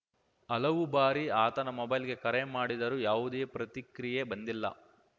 ಹಲವು ಬಾರಿ ಆತನ ಮೊಬೈಲ್‌ಗೆ ಕರೆ ಮಾಡಿದರೂ ಯಾವುದೇ ಪ್ರತಿಕ್ರಿಯೆ ಬಂದಿಲ್ಲ